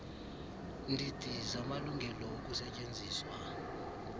ndidi zamalungelo okusetyenziswa